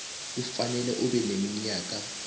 kufanele ube neminyaka